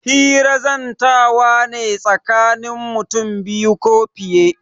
Hira zantawa ne tsakanin mutum biyu ko fiye.